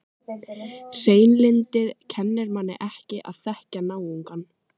Hreinlyndið kennir manni ekki að þekkja náungann.